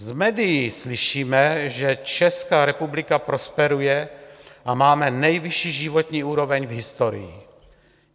Z médií slyšíme, že Česká republika prosperuje a máme nejvyšší životní úroveň v historii.